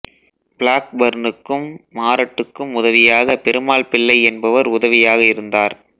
black பர்னுக்கும் மாரட்டுக்கும் உதவியாக பெருமாள்பிள்ளை என்பவர் உதவியாக இருந்தார்